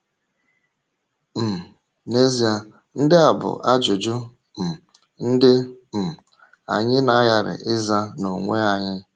um N’eziè, ndị a bụ ajụjụ um ndị um anyị na-aghàrị ịzà n’onwe anyị.